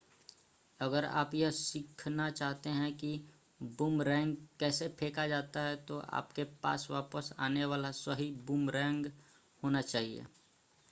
अगर आप यह सीखना चाहते हैं कि बूमरैंग कैसे फेंका जाता है तो आपके पास वापस आने वाला सही बूमरैंग होना चाहिए